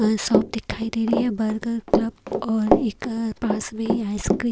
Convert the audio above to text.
shop दिखाई दे रही है बर्गर क्लब और एक पास में आइसक्रीम --